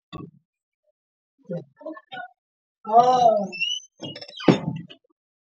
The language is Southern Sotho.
Taolo e matla e hodisa kgwebo ya hao.